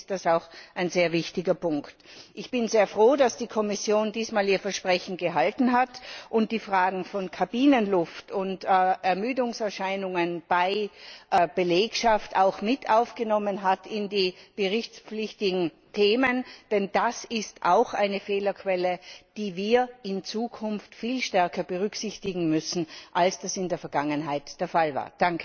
Deswegen ist das auch ein sehr wichtiger Punkt. Ich bin sehr froh, dass die Kommission diesmal ihr Versprechen gehalten hat und die Fragen von Kabinenluft und Ermüdungserscheinungen bei der Belegschaft auch mit aufgenommen hat in die berichtspflichtigen Themen, denn das ist auch eine Fehlerquelle, die wir in Zukunft viel stärker berücksichtigen müssen, als das in der Vergangenheit der Fall war.